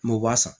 M'o b'a san